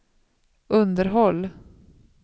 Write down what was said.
underhåll